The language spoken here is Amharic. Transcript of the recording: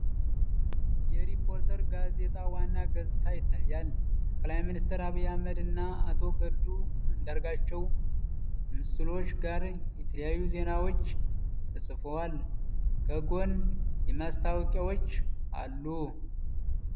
የ“ሪፖርተር” ጋዜጣ ዋና ገጽ ይታያል። የጠቅላይ ሚኒስትር ዐቢይ አሕመድ እና የአቶ ገዱ አንዳርጋቸው ምስሎች ጋር የተለያዩ ዜናዎች ተጽፈዋል። ከጎን ማስታወቂያዎች አሉ።